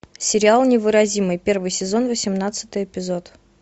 сериал невыразимый первый сезон восемнадцатый эпизод